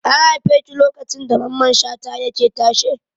An haife ki lokacin da Mamman Shata yake tashe?